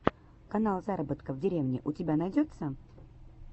канал заработка в деревне у тебя найдется